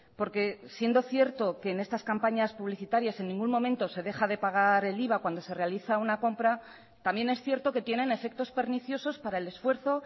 porque siendo cierto que en estas campañas publicitarias en ningún momento se deja de pagar el iva cuando se realiza una compra también es cierto que tienen efectos perniciosos para el esfuerzo